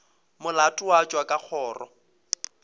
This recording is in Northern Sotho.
molato wa tšwa ka kgoro